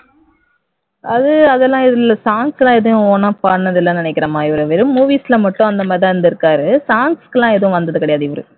அது அதெல்லாம் எதுவும் இல்ல songs எல்லாம் எதுவும் own ஆ பாடினதில்லை என்று நினைக்கிறேன்மா இவர் வெறும் movies ல மட்டும் அந்த மாதிரி தான் இருந்திருக்கார் songs எல்லாம் எதுவும் வந்தது கிடையாது இவர்